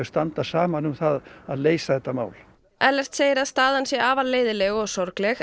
standa saman um það að leysa þetta mál Ellert segir að staðan sé afar leiðinleg og sorgleg